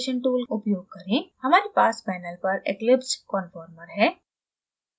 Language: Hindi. हमारे पास panel पर eclipsed conformer है